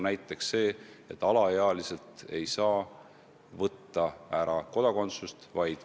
Näiteks alaealiselt ei saa kodakondsust ära võtta.